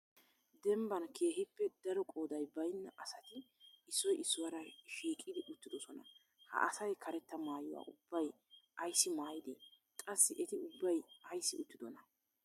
Dembban keehippe daro qooday baynna asati issoy issuwaara shiiqodi uttidoosona. Ha asay karetta maayuwa ubbay ayssi maayide? Qaasi eti ubbay ayssi uttidona?